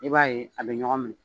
I b'a ye a bɛ ɲɔgɔn minɛ